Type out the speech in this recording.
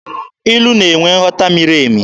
Ilu na-enwe nghọta miri emi.